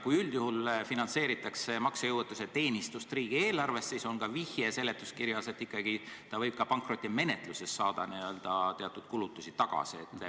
Kui üldjuhul finantseeritakse maksejõuetuse teenistust riigieelarvest, siis on ka vihje seletuskirjas, et ikkagi ta võib ka pankrotimenetluses saada teatud kulutusi tagasi.